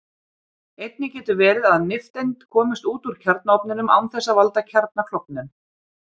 Einnig getur verið að nifteind komist út úr kjarnaofninum án þess að valda kjarnaklofnun.